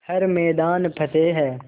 हर मैदान फ़तेह